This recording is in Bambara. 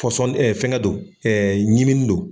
Pɔsɔn fɛn kɛ don ɲimini don.